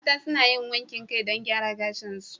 Mata suna yin wankin kai don gyara gashinsu.